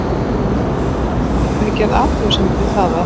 En hverju sætir það að ekki hefur verið gerð athugasemd við það að